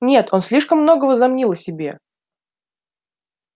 нет он слишком много возомнил о себе